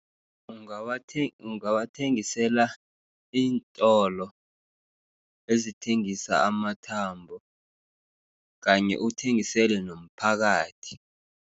Ungawathengisela iintolo, ezithengisa amathambo, kanye uthengisele nomphakathi.